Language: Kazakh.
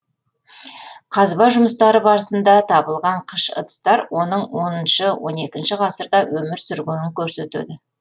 қазба жұмыстары барысында табылған қыш ыдыстар оның оныншы он екінші ғасырда өмір сүргенін көрсетеді